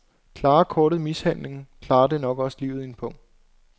Klarer kortet mishandlingen, klarer det nok også livet i en pung.